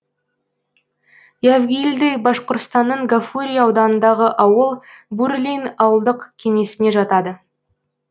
явгильды башқұртстанның гафурий ауданындағы ауыл бурлин ауылдық кеңесіне жатады